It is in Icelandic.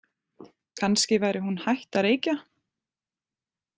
Kannski væri hún hætt að reykja?